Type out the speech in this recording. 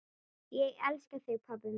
Ég elska þig, pabbi minn.